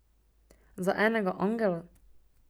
Za enega angela?